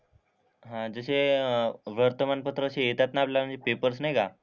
हां जसे वर्तमानपत्र असे येतात ना म्हणजे असे पेपर्स नाही का,